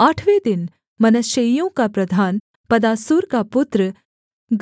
आठवें दिन मनश्शेइयों का प्रधान पदासूर का पुत्र